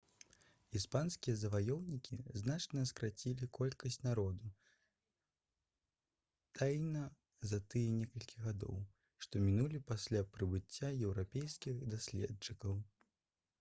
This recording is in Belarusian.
іспанскія заваёўнікі значна скарацілі колькасць народу таіна за тыя некалькі гадоў што мінулі пасля прыбыцця еўрапейскіх даследчыкаў